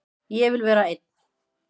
Ég vil vera einn.